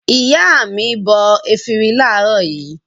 Ìyá mi bọ efirin láàárọ̀ yìí.